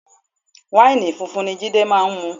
Wáìnì funfun ni Jide máa ń mu